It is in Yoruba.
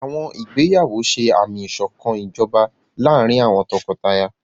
Àwọn ìgbéyàwó ṣe àmì ìṣọ̀kan ìjọba láàárín àwọn tọkọtaya.